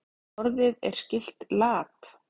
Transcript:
Orðið er skylt lat.